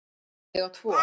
Ég á tvo.